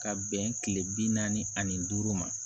Ka bɛn kile bi naani ani duuru ma